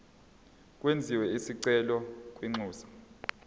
kwenziwe isicelo kwinxusa